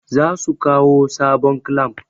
zasu kawo sabon clamp